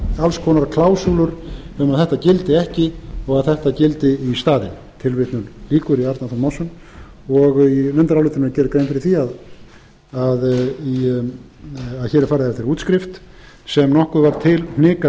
konar klásúlur um að þetta gildi ekki og þetta gildi í staðinn tilvitnun lýkur í arnar þór másson í nefndarálitinu er gerð grein fyrir því að hér er farið eftir útskrift sem nokkuð var hnikað